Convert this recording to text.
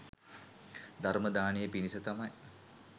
ධර්ම දානය පිණිස තමයි